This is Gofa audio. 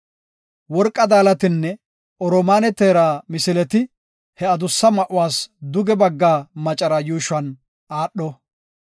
Worqa daalatinne oromaane teera misileti he adusse ma7uwas duge bagga macara yuushuwan aadho.